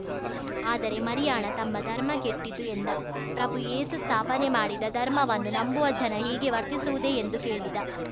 ಆದರೆ ಮರಿಯಾಣ ತಮ್ಮ ಧರ್ಮ ಕೆಟ್ಟಿತು ಎಂದ ಪ್ರಭು ಏಸು ಸ್ಥಾಪನೆ ಮಾಡಿದ ಧರ್ಮವನ್ನು ನಂಬುವ ಜನ ಹೀಗೆ ವರ್ತಿಸುವುದೇ ಎಂದು ಕೇಳಿದ